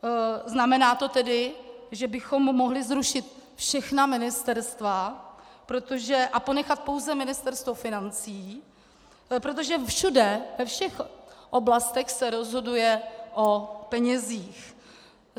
Znamená to tedy, že bychom mohli zrušit všechna ministerstva a ponechat pouze Ministerstvo financí, protože všude, ve všech oblastech, se rozhoduje o penězích.